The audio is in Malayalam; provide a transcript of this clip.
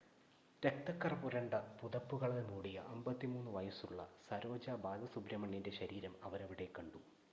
രക്തക്കറ പുരണ്ട പുതപ്പുകളാൽ മൂടിയ 53 വയുസ്സുള്ള സരോജ ബാലസുബ്രഹ്‌മണ്യൻ്റെ ശരീരം അവരവിടെ കണ്ടു